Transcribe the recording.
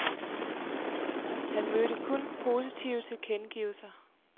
Han mødte kun positive tilkendegivelser.